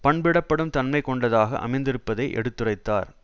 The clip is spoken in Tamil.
பண்பிடப்படும் தன்மை கொண்டதாக அமைந்திருப்பதை எடுத்துரைத்தார்